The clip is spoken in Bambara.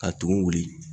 Ka tumu wuli